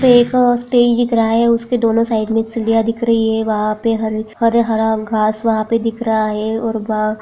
एक स्टेज दिख रहा है उसके दोनों साइड मे सीडियाँ दिख रही है वहाँ पे हरे हरा-हरा घास वहाँ पे दिख रहा है। और वहाँ--